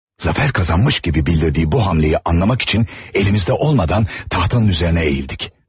Zəfər qazanmış kimi bildirdiyi bu hərəkəti anlamaq üçün əlimizdə olmadan taxtanın üzərinə əyildik.